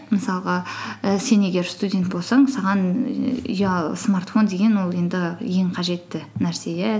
мысалға і сен егер студент болсаң саған смартфон деген ол енді ең қажетті нәрсе иә